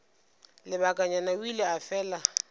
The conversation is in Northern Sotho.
lebakanyana o ile a fela